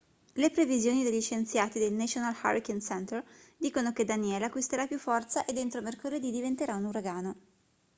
le previsioni degli scienziati del national hurricane center dicono che danielle acquisirà più forza ed entro mercoledì diventerà un uragano